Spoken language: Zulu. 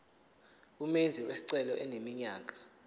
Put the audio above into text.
umenzi wesicelo eneminyaka